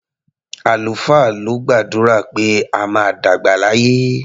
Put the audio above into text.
Àlùfáà ló gbàdúrà pé a máa dàgbà láyé.